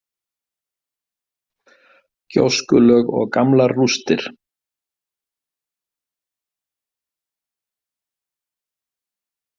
Gjóskulög og gamlar rústir.